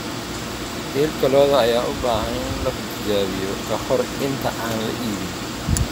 Hilibka lo'da ayaa u baahan in la tijaabiyo ka hor inta aan la iibin.